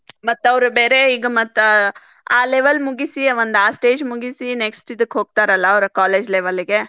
ಮತ್ತ್ ಅವ್ರ್ ಬೇರೆ ಈಗ ಮತ್ತ್ ಆ level ಮುಗಿಸಿ ಒಂದ್ ಆ stage ಮುಗಿಸಿ next ಇದಕ್ಕ್ ಹೋಗ್ತಾರಲ್ಲಾ ಅವ್ರ college level ಗೆ.